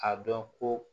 A dɔn ko